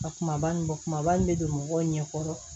Ka kumaba nin bɔ kumaba in bɛ don mɔgɔw ɲɛkɔrɔ